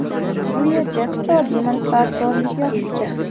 Bu yerda iqtisodiy manfaatdorlik yotibdi.